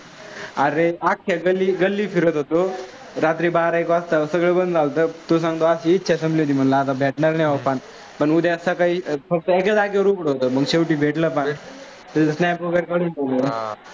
रात्री बारा एक वाजता सगळं बंद झालंतं, तुला सांगतो असं इच्छा झाली होती. आता भेटणार नाही. पान उद्या सकाळी फक्त एकच जागेच उघडं होतं मग भेटलं पान.